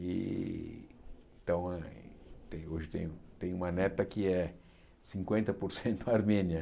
E então eh tenho hoje tenho uma neta que é cinquenta por cento armênia.